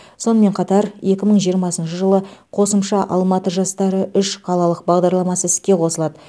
сонымен қатар екі мың жиырмасыншы жылы қосымша алматы жастары үш қалалық бағдарламасы іске қосылады